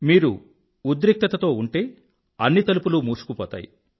మీరు ఉద్రిక్తతతో ఉంటే అన్ని తలుపులూ మూసుకుపోతాయి